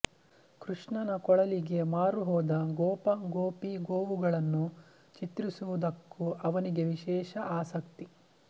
ಕೃಷ್ಣನ ಕೊಳಲಿಗೆ ಮಾರು ಹೋದ ಗೋಪ ಗೋಪೀ ಗೋವುಗಳನ್ನು ಚಿತ್ರಿಸುವುದಕ್ಕೂ ಅವನಿಗೆ ವಿಶೇಷ ಆಸಕ್ತಿ